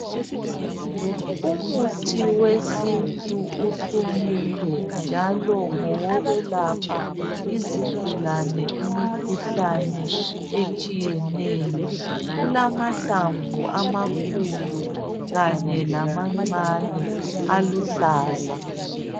Umuthi wesintu uhlumile njalo ngowokwelapha izigulane imikhuhlane etshiyeneyo, kulamahlamvu amakhulu kanye lamancane aluhlaza.